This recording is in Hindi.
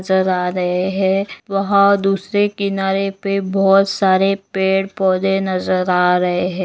नज़र आ रहे है वहां दूसरे किनारे पे बहुत सारे पेड़ पौधे नज़र आ रहे है।